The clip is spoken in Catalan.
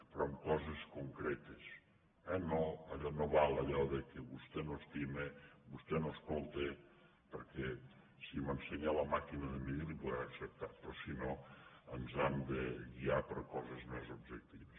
però amb coses concretes eh no val allò que vostè no estima vostè no escolta perquè si m’ensenya la màquina de mesurar li ho podré acceptar però si no ens hem de guiar per coses més objectives